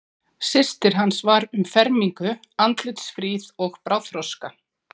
Systir hans var um fermingu, andlitsfríð og bráðþroska.